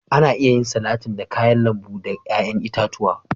Ana iya yin salatin da kayan lambu da yayan itatuwa.